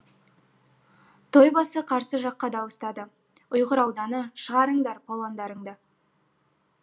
тойбасы қарсы жаққа дауыстады ұйғыр ауданы шығарыңдар палуандарыңды